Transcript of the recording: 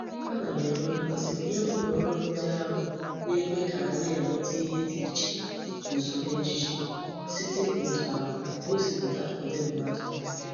Ana m enwe mmasi nye uloru ndi ahu na-ekwe ka a na-enwetu ihe di iche n'usoro ejiji site otu ahu gosiputa udi mmadu.